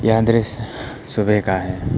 यह दृश्य सुबह का है।